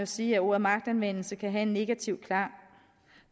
sige at ordet magtanvendelse kan have en negativ klang